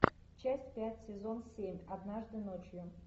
часть пять сезон семь однажды ночью